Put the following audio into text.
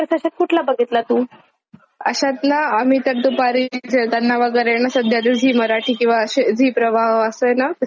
अशात ना आम्ही तर दुपारी जेवतांना वगैरे ना सध्या तर झी मराठी.. किंवा अशे झी प्रवाह असय ना; मराठी जुने पिक्चर लावलेले असतात.